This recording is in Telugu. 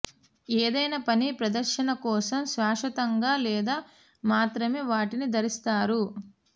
ఏదైనా పని ప్రదర్శన కోసం శాశ్వతంగా లేదా మాత్రమే వాటిని ధరిస్తారు